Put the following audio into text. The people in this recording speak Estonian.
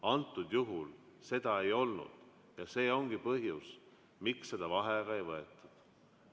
Antud juhul seda ei olnud ja see ongi põhjus, miks seda vaheaega ei võetud.